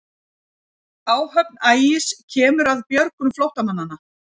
Áhöfn Ægis kemur að björgun flóttamanna